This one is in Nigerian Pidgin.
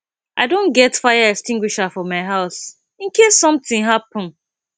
i don get fire extinguisher for my house in case something happen